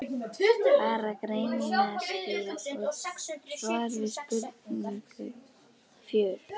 Bara greinaskil og svar við spurningu fjögur.